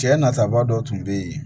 Cɛ nataba dɔ tun bɛ yen